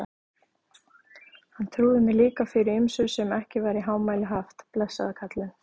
Hann trúði mér líka fyrir ýmsu sem ekki var í hámæli haft, blessaður kallinn.